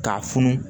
K'a funu